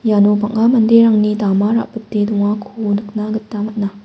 iano bang·a manderangni dama ra·bite dongako nikna gita man·a.